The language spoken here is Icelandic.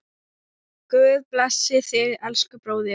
Guð blessi þig, elsku bróðir.